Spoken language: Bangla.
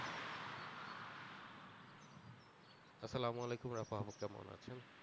আসসালাম আলাইকুম কেমন আছেন?